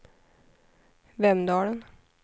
Vemdalen